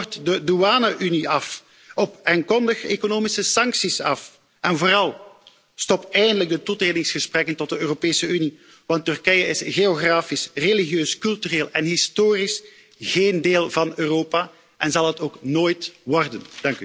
Schaf de douane unie af en kondig economische sancties af. En vooral stop eindelijk de toetredingsgesprekken tot de Europese Unie, want Turkije is geografisch religieus, cultureel en historisch geen deel van Europa en zal het ook nooit worden.